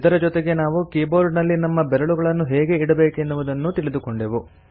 ಇದರ ಜೊತೆಗೆ ನಾವು ಕೀಬೋರ್ಡಿನಲ್ಲಿ ನಮ್ಮ ಬೆರಳುಗಳನ್ನು ಹೇಗೆ ಇಡಬೇಕೆನ್ನುವುದನ್ನೂ ತಿಳಿದುಕೊಂಡೆವು